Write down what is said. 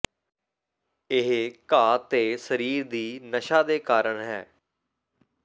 ਇਹ ਘਾਹ ਤੇ ਸਰੀਰ ਦੀ ਨਸ਼ਾ ਦੇ ਕਾਰਨ ਹੈ